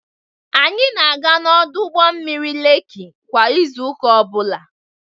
Anyị na-aga n'ọdụ ụgbọ mmiri Lekki kwa izu ụka ọ bụla.